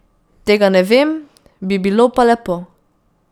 Tega ne vem, bi bilo pa lepo.